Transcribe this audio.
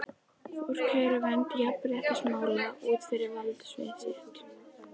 Fór kærunefnd jafnréttismála út fyrir valdsvið sitt?